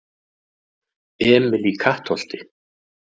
Emil í Kattholti